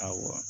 Awɔ